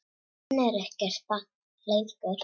Hann er ekkert barn lengur.